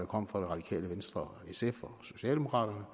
kom fra det radikale venstre sf og socialdemokraterne